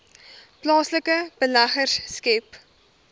plaaslike beleggers skep